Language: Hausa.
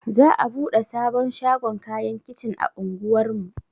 Za'a buɗe sabon shagon kayan kicin a unguwar mu.